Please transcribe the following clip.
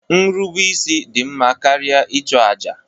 Nrubeisi dị mma karịa ịchụ àjà